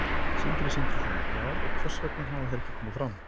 Sindri Sindrason: Já, og hvers vegna hafa þeir ekki komið fram?